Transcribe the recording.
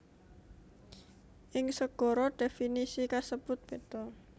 Ing segara dhéfinisi kasebut béda